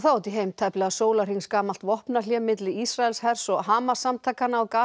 tæplega vopnahlé milli Ísraelshers og Hamas samtakanna á